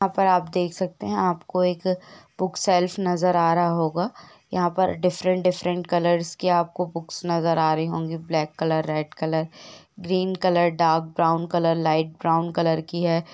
यहाँ पर आप देख सकते हैं आपको एक बुक शेल्फ नजर आ रहा होगा| यहाँ पर डिफरेंट -डिफरेंट कलर्स की आपको बुक्स नजर आ रही होगी black colour red colour green colour dark brown colour light brown colour की है ।